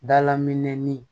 Dalaminɛnin